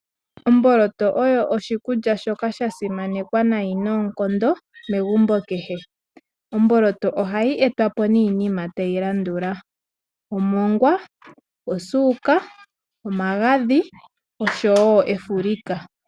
Omboloto oyo oshikulya shoka sha simanekwa nayi noonkondo megumbo kehe. Omboloto ohayi etwapo niinima tayi landula: omongwa, osuuka, omagadhi osho woo efulika.